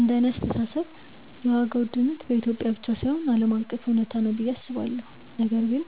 እንደኔ አስተሳሰብ የዋጋ ውድነት በኢትዮጵያ ብቻ ሳይሆን ዓለም አቀፍ እውነታ ነው ብዬ አስባለሁ፤ ነገር ግን